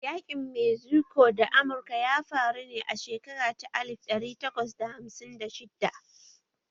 Yaƙin Mexico da Amurka ya faru ne a shekara ta alif ɗari takwas da hamsin da shidda